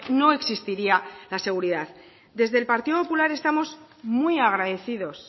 no existiría la seguridad desde el partido popular estamos muy agradecidos